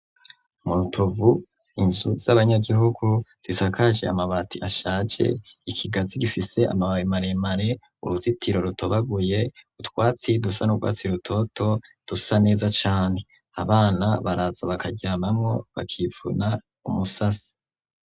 Mu Rutovu inzu zabanyagihugu zisakaje amabati ashaje ikigazi gifise amababi maremare uruzitiro rutobaguye utwatsi dusa nurwatsi rutoto dusa neza cane abana baraza bakaryamamo bakivuna umusase.